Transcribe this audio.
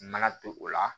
N nana to o la